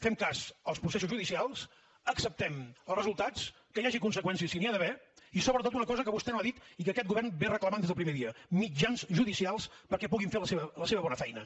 fem cas dels processos judicials acceptem ne els resultats que hi hagi conseqüències si n’hi ha d’haver i sobretot una cosa que vostè no ha dit i que aquest govern reclama des del primer dia mitjans judicials perquè puguin fer la seva bona feina